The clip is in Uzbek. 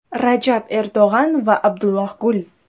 Rajab Erdo‘g‘an va Abdulloh Gul.